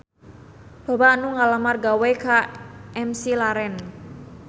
Loba anu ngalamar gawe ka McLaren